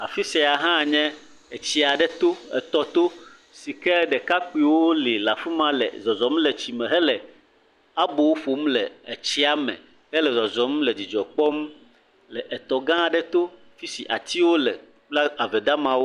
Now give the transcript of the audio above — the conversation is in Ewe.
Afi sia hã nye etsi aɖe to, etɔ to si ke ɖekakpoewo le le afi ma zɔzɔm le etsi me hele abo ƒom le etsia me hele zɔzɔm le dzidzɔ kpɔm le etɔ gã aɖe to fi si atiwo le kple ave gamawo.